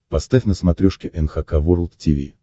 поставь на смотрешке эн эйч кей волд ти ви